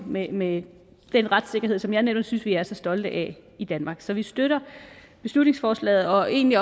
med med den retssikkerhed som jeg netop synes vi er så stolte af i danmark så vi støtter beslutningsforslaget og egentlig